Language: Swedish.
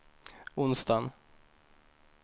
onsdagen